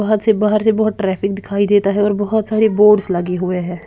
बहोत सी बाहर जब यहाँ पर ट्रैफिक दिखाई देता है और बहोत सारी बोर्ड्स लगी हुई है।